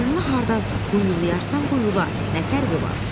Ölünü harda quyulayarsan quyula, nə fərqi var?